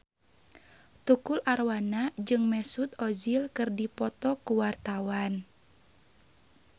Tukul Arwana jeung Mesut Ozil keur dipoto ku wartawan